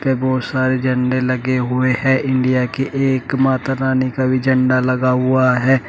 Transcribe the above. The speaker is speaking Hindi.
बहुत सारे झंडे लगे हुए हैं इंडिया के एक माता रानी का भी झंडा लगा हुआ है।